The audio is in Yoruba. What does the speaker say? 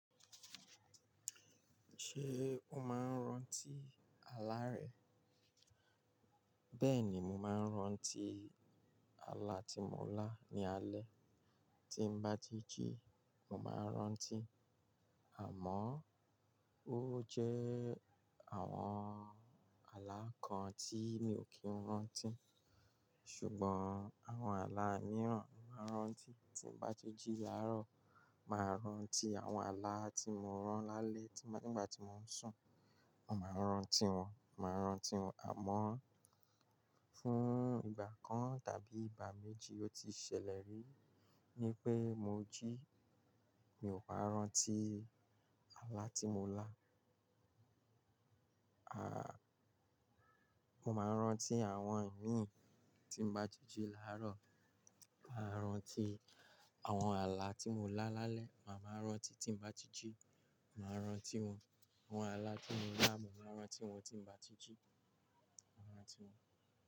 Ṣé o máa ń rántí àlá rẹ? Bẹ́ẹ̀ni, mo máa ń rántí àlá tí mo lá ní alẹ́. Tín bá ti jì, mo máa rántí. Àmọ́, ó jẹ́ àwọn àlá kan tí mi ò kíń rántí. Ṣùgbọ́n àwọn àlá mìíràn, mo máa rántí. Tín bá tí ji làárọ̀, màá rántí àwọn àlá tí mo rán lálẹ́. Nígbà tí mo ń sùn, mo máa rántí wọn, màá rántí wọn. Àmọ́, fún ìgbà kan tàbí ìgbà méjì ó ti ṣẹlẹ̀ rí wipé mo jí, mi ò bá rántí àlá tí mo lá. Mo máa rántí àwọn imi tín bá tí ji laárọ̀. Màá rántí àwọn àlá tí mo lá lálẹ́. Màá máa rántí tí ln bá ti jí, màá rántí wọn. Àwọn àlá tí mo lá, mo máa rántí wọn tín bá tí jí, màá rántí wọn.